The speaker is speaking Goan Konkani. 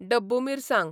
डब्बू मिरसांग